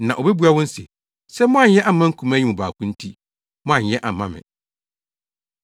“Na obebua wɔn se, ‘Sɛ moanyɛ amma nkumaa yi mu baako nti, moanyɛ amma me.’